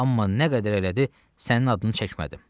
Amma nə qədər elədi, sənin adını çəkmədim.